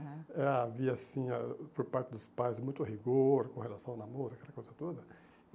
É. Havia assim, ah por parte dos pais, muito rigor com relação ao namoro, aquela coisa toda.